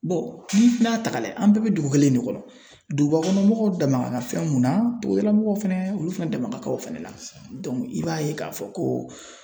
ni n'a ta ka lajɛ, an bɛɛ be dugu kelen in de kɔnɔ, dugubakɔnɔmɔgɔw dan na fɛn mun na, togodalamɔgɔw fɛnɛ olu fɛnɛ dɛmɛ ka kan o fana la i b'a ye k'a fɔ ko